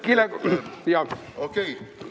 Okei.